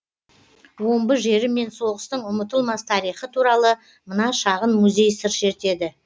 омбы жері мен соғыстың ұмытылмас тарихы туралы мына шағын музей сыр шертеді